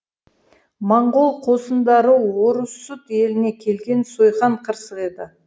монғол қосындары орұсут еліне келген сойқан қырсық еді